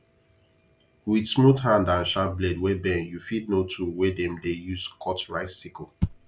with smooth hand and sharp blade wey bend u fit know tool wey dem dey use cut rice sickle